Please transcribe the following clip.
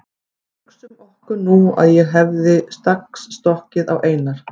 En hugsum okkur nú að ég hefði strax stokkið á Einar